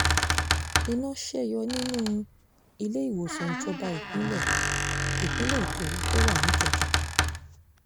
iná ṣe yọ nínú iléèwòsàn ìjọba ìpínlẹ̀ ìpínlẹ̀ èkó tó wà níkẹjà